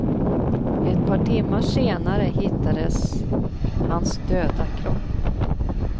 Ett par timmar senare hittades hans döda kropp.